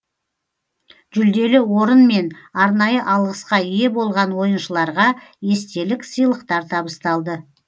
жүлделі орын мен арнайы алғысқа ие болған ойыншыларға естелік сыйлықтар табысталды